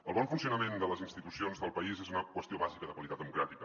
el bon funcionament de les institucions del país és una qüestió bàsica de qualitat democràtica